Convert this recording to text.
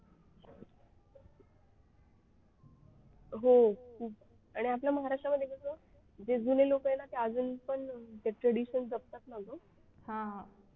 हो खूप आणि आपल्या महाराष्ट्र मध्ये कसं जे जुने लोक आहे ना ते अजून पण tradition जपतात ना ग